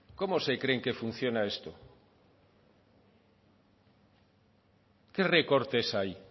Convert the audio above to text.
cómo se creen que funciona esto qué recortes hay